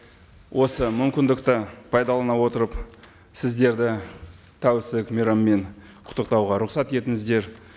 осы мүмкіндікті пайдалана отырып сіздерді тәуелсіздік мейрамымен құттықтауға рұқсат етіңіздер